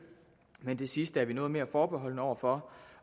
men det sidste er vi noget mere forbeholdne over for